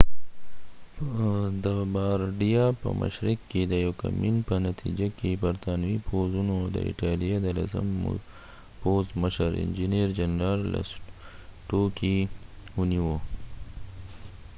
په د بارډیا په مشرق کې د یوکمین په نتیجه کې برطانوي پوځونو د ایټالیا د لسم پوځ مشر انچېنیر جنرال لسټوکې general lastucci ونیو